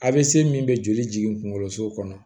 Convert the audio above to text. A bɛ se min bɛ joli jigin kunkoloso kɔnɔ